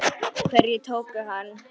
SKÚLI: Hverjir tóku hann?